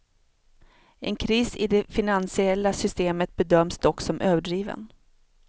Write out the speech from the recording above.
En kris i det finansiella systemet bedöms dock som överdriven.